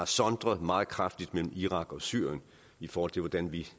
sondret meget kraftigt mellem irak og syrien i forhold til hvordan vi